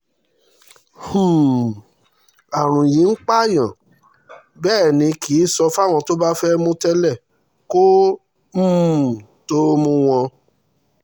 um àrùn yìí ń pààyàn bẹ́ẹ̀ ni kì í sọ fáwọn tó bá fẹ́ẹ́ mú tẹ́lẹ̀ kó um tóó mú wọn